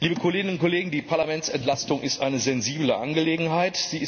Liebe Kolleginnen und Kollegen, die Parlamentsentlastung ist eine sensible Angelegenheit.